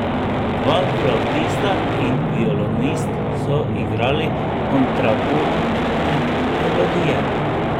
Dva flavtista in violinist so igrali kontrapunktne melodije.